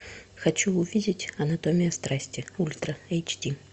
хочу увидеть анатомия страсти ультра эйч ди